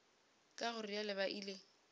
ka go realo ba ile